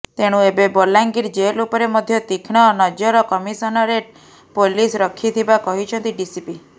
ତେଣୁ ଏବେ ବଲାଙ୍ଗୀର ଜେଲ ଉପରେ ମଧ୍ୟ ତିକ୍ଷ୍ଣ ନରଜ କମିଶନରେଟ ପୋଲିସ ରଖିଥିବା କହିଛନ୍ତି ଡିସିପି